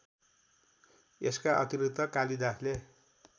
यसका अतिरिक्त कालिदासले